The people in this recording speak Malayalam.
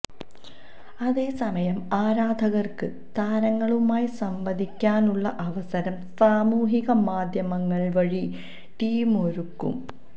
അതേസമയം ആരാധകര്ക്ക് താരങ്ങളുമായി സംവദിക്കാനുള്ള അവസരം സാമൂഹിക മാധ്യമങ്ങള് വഴി ടീമൊരുക്കും